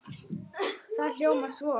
Það hljómar svo